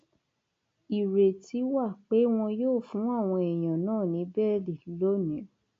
ìrètí wà pé wọn yóò fún àwọn èèyàn náà ní bẹẹlí lónìí